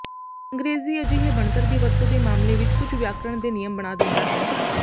ਅੰਗਰੇਜ਼ੀ ਅਜਿਹੇ ਬਣਤਰ ਦੀ ਵਰਤੋ ਦੇ ਮਾਮਲੇ ਵਿਚ ਕੁਝ ਵਿਆਕਰਣ ਦੇ ਨਿਯਮ ਬਣਾ ਦਿੰਦਾ ਹੈ